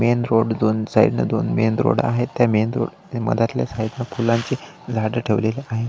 Main road दोन side न दोन मेन रोड आहेत त्या मेन रोड च्या मधातल्या साइड ने फुलांची झाडे ठेवलेली आहेत.